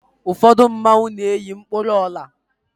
ụfọdụ mmanwu na-eyi mkpụrụ Ọla